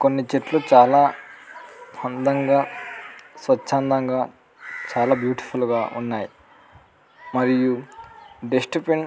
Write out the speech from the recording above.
కొన్ని చెట్లు చాల అందంగా స్వఛ్ అందంగా చాలా బ్యూటిఫుల్ గ ఉన్నాయ్ మరియు డస్ట్ బిన్ .